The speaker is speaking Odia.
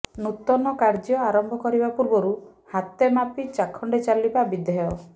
ନୂତନ କାର୍ଯ୍ୟ ଆରମ୍ଭ କରିବା ପୂର୍ବରୁ ହାତେମାପି ଚାଖଣ୍ଡେ ଚାଲିବା ବିଧେୟ